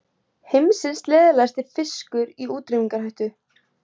Heimsins leiðasti fiskur í útrýmingarhættu